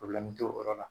t'o yɔrɔ la